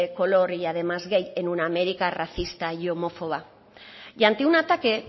color y además gay en una américa racista y homófoba y ante un ataque